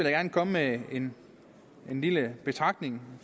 gerne komme med en lille betragtning